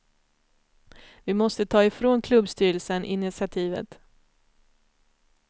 Vi måste ta ifrån klubbstyrelsen initiativet.